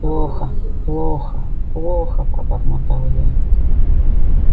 плохо-плохо-плохо пробормотал я